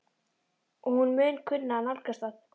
Og hún mun kunna að nálgast það.